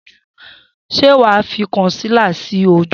Sé wà á fi kọ̀nsílà sí ojú?